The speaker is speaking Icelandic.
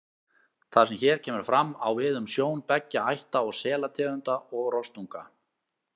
Það sem hér kemur fram, á við um sjón beggja ætta selategunda og rostunga.